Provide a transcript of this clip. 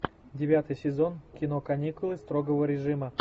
девятый сезон кино каникулы строгого режима